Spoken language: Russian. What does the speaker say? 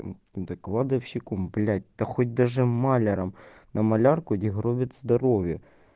да кладовщиком блять да хоть даже маляром на малярку где гробит здоровье